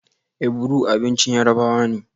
Ekuru abincin Yarabawa ne